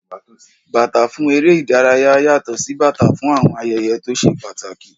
Bàtà fún eré ìdárayá yàtò sí bàtà fún àwọn ayẹyẹ tó ṣe pàtàkì.